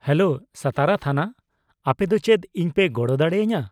-Hello, Satara ᱛᱷᱟᱱᱟ, ᱟᱯᱮ ᱫᱚ ᱪᱮᱫ ᱤᱧ ᱯᱮ ᱜᱚᱲᱚ ᱫᱟᱲᱮᱭᱟᱹᱧᱟ ?